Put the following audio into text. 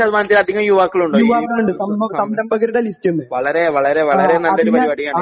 നാല്പത്തിയഞ്ചു ശതമാനത്തിലധികം യുവാക്കളുണ്ടോ ഇതിൽ . വളരെ വളരെ നല്ലൊരു പരിപാടിയാണ്